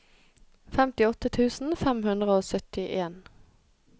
femtiåtte tusen fem hundre og syttien